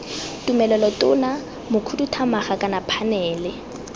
tumelelo tona mokhuduthamaga kana phanele